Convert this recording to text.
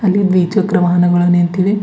ಇಲ್ಲಿ ದ್ವಿ ಚಕ್ರ ವಾಹನಗಳು ನಿಂತಿವೆ.